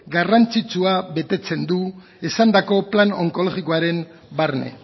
garrantzitsua betetzen du esandako plan onkologikoaren barne